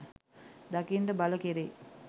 දකින්නට බල කෙරෙයි